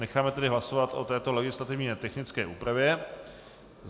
Necháme tedy hlasovat o této legislativně technické úpravě.